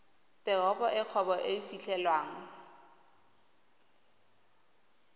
teropo e kgwebo e fitlhelwang